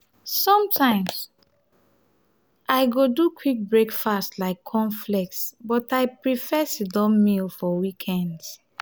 sometimes i go do quick breakfast like cornflakes but i prefer sit-down meal for weekends.